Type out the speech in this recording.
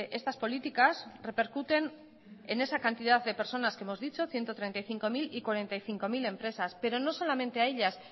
estas políticas repercuten en esa cantidad de personas que hemos dicho ciento treinta y cinco mil y cuarenta y cinco mil empresas pero no solamente a ellas